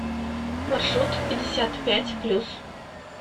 маршрут пятьдесят пять плюс